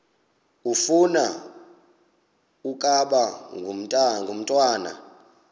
ufuna ukaba ngumntwana